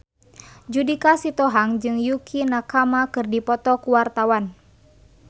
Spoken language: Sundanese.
Judika Sitohang jeung Yukie Nakama keur dipoto ku wartawan